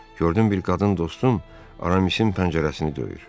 Gördüm bir qadın dostum Aramisin pəncərəsini döyür.